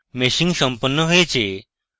মেশিং সম্পন্ন হয়েছে